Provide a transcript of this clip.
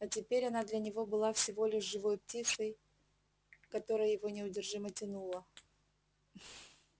а теперь она для него была всего лишь живой птицей к которой его неудержимо тянуло